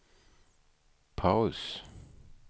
paus